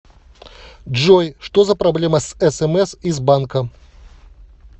джой что за проблема с смс из банка